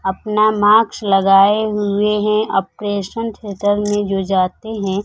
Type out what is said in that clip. अपना मास्क लगायें हुए है। आपरेशन थियेटर में जो जाते है--